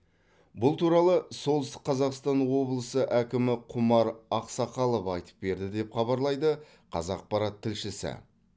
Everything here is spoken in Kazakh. бұл туралы солтүстік қазақстан облысы әкімі құмар ақсақалов айтып берді деп хабарлайды қазақпарат тілшісі